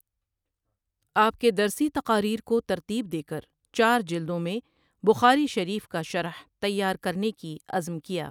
آپ کے درسي تقاریر کو ترتیب دیکر چار جلدوں میں بخاری شریف کا شرح تیار کرنے کی عزم کیا۔